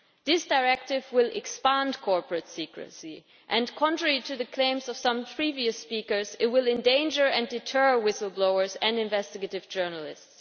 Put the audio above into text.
This directive will expand corporate secrecy and, contrary to the claims of some previous speakers, it will endanger and deter whistle blowers and investigative journalists.